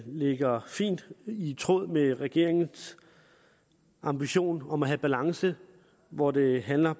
ligger fint i tråd med regeringens ambition om at have balance hvor det handler